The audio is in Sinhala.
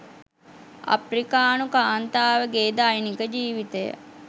අප්‍රිකානු කාන්තාවගේ දෛනික ජීවිතය